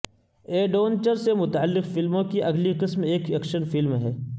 adventure سے متعلق فلموں کی اگلی قسم ایک ایکشن فلم ہے